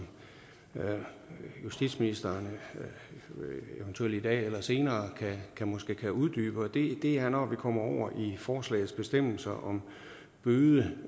justitsministeren eventuelt i dag eller senere måske kan uddybe og det er når vi kommer over i forslagets bestemmelser om bøde